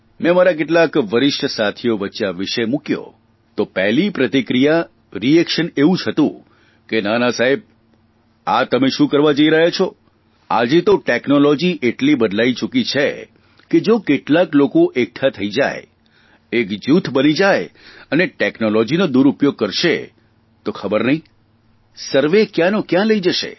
મેં મારા કેટલાક વરિષ્ઠ સાથીઓ વચ્ચે આ વિષય મૂક્યો તો પહેલી પ્રતિક્રિયા રિએક્શન એવી જ હતી કે નાના સાહેબ આ તમે શું કરવા જઇ રહ્યા છો આજે તો ટેકનોલોજી એટલી બદલાઇ ચૂકી છે કે જો કેટલાક લોકો એકઠા થઇ જાય એક જૂથ બની જાય અને ટેકનોલોજીનો દૂરૂપયોગ કરશે તો ખબર નહીં સર્વે કયાંનો કયાં લઇ જશે